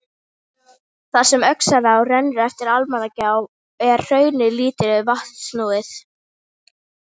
Þar sem Öxará rennur eftir Almannagjá er hraunið lítið vatnsnúið.